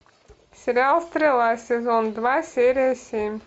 сериал стрела сезон два серия семь